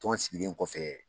Tɔn sigilen kɔfɛ.